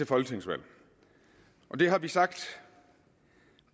folketingsvalg det har vi sagt